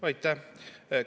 Aitäh!